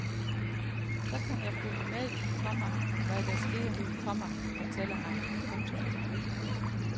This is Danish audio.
Så kan jeg følge med i, komma hvad der sker, komma fortæller han. punktum